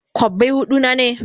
Kobbai hudu na ne?